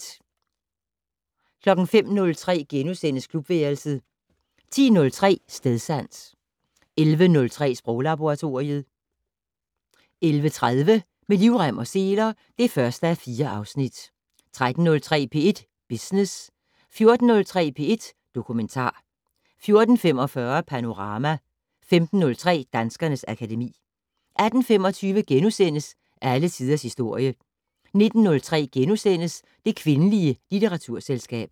05:03: Klubværelset * 10:03: Stedsans 11:03: Sproglaboratoriet 11:30: Med livrem og seler (1:4) 13:03: P1 Business 14:03: P1 Dokumentar 14:45: Panorama 15:03: Danskernes akademi 18:25: Alle tiders historie * 19:03: Det kvindelige litteraturselskab *